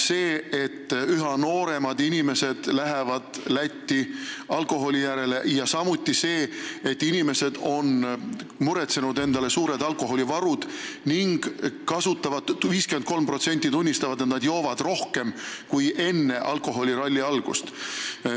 Üha nooremad inimesed lähevad Lätti alkoholi järele, samuti on inimesed muretsenud endale suured alkoholivarud ning 53% tarvitajatest tunnistab, et joob rohkem kui enne alkoholiralli algust.